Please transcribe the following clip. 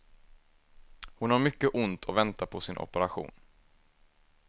Hon har mycket ont och väntar på sin operation.